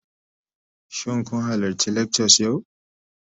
Shin kun halarci lectures yau?